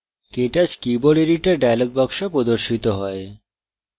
ktouch keyboard editor dialog box প্রদর্শিত হয়